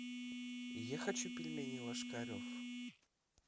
я хочу пельмени ложкарев